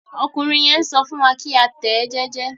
Ọkùnrin yẹn n sọ fún wa ki a tẹ ẹ jẹjẹ.